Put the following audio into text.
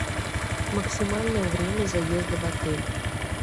максимальное время заезда в отель